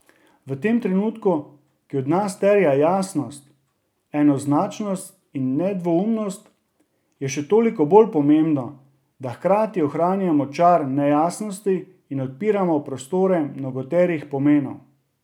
V tem trenutku, ki od nas terja jasnost, enoznačnost in nedvoumnost, je še toliko bolj pomembno, da hkrati ohranjamo čar nejasnosti in odpiramo prostore mnogoterih pomenov.